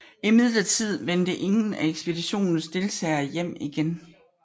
Imidlertid vendte ingen af ekspeditionens deltagere hjem igen